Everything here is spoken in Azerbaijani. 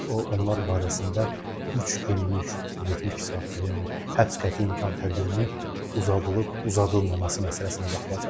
Onlar barəsində üç günlük, 72 saatlıq, yəni həbs qəti imkan tədbirinin uzadılıb-uzadılmaması məsələsinə baxılacaq.